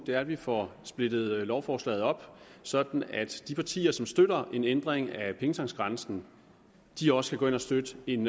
er at vi får splittet lovforslaget op sådan at de partier der støtter en ændring af pengetanksgrænsen også kan støtte en